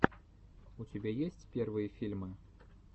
у тебя есть первые фильмы